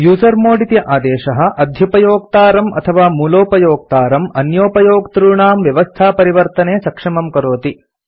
usermod इति आदेशः अध्युपयोक्तारं अथवा मूलोपयोक्तारं अन्योपयोक्तॄणां व्यवस्थापरिवर्तने सक्षमं करोति